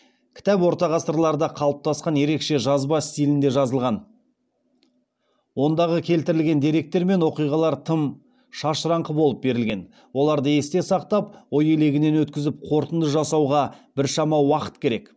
кітап ортағасырларда қалыптасқан ерекше жазба стилінде жазылған ондағы келтірілген деректер мен оқиғалар тым шашыраңқы болып берілген оларды есте сақтап ой елегінен өткізіп қорытынды жасауға біршама уақыт керек